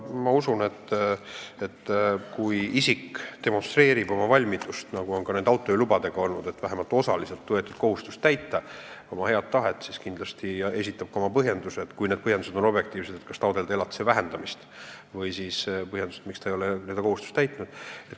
Ma usun, et kui isik demonstreerib oma valmidust – nii on olnud näiteks autojuhilubadega – võetud kohustust vähemalt osaliselt täita, kui ta näitab head tahet, siis kindlasti esitab ta ka oma põhjendused: objektiivsed põhjendused, miks ta taotleb elatise vähendamist, või põhjendused, miks ta ei ole enda kohustust täitnud.